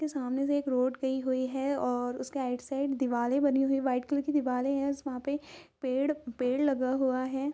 सामने से एक रोड गई हुई हैं और उसके राइट साइड दीवाले बनी हुई हैं वाइट कलर की दीवाल हैं वहाँ पे इसमें पेड़ लगा हुआ हैं।